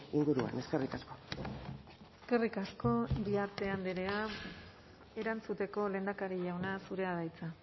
inguruan eskerrik asko eskerrik asko iriarte andrea erantzuteko lehendakari jauna zurea da hitza